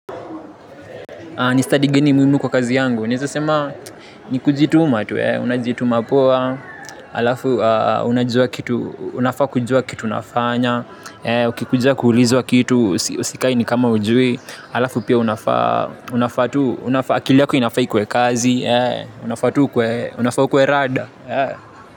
Ni study gani muhimu kwa kazi yangu, ninaweza sema ni kujituma tu, unajituma poa, alafu unajua kitu, unafaa kujua kitu unafanya, uki kuja kuulizwa kitu usikae ni kama hujui, alafu pia unafaa, akili yako inafaa iwe kazi, unafaa ukwe rada.